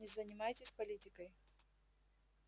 не занимайтесь политикой